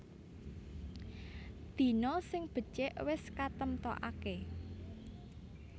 Dina sing becik wis katemtokaké